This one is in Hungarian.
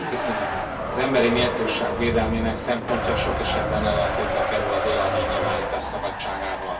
Elnök Asszony, az emberi méltóság védelmének szempontja sok esetben ellentétbe kerül a véleménynyilvánítás szabadságával.